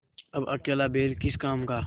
अब अकेला बैल किस काम का